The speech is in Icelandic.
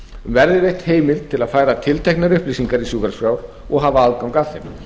verði veitt heimild til að færa tilteknar upplýsingar í sjúkraskrá og hafa aðgang að þeim